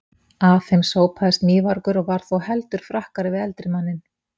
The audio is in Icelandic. Að þeim sópaðist mývargur og var þó heldur frakkari við eldri manninn.